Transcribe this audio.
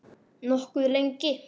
Nokkuð lengi.